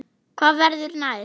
Hvað verður næst?